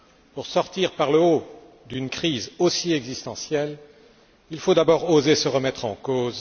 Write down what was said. Pour sortir par le haut d'une crise aussi existentielle, il faut d'abord oser se remettre en cause.